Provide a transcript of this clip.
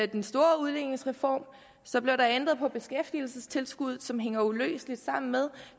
den store udligningsreform så blev der ændret på beskæftigelsestilskuddet som hænger uløseligt sammen med